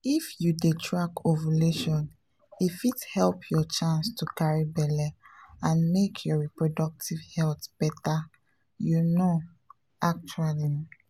“if you dey track ovulation e fit help your chance to carry belle and make your reproductive health better you know actually.